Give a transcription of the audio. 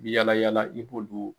I bi yala yala i b'olu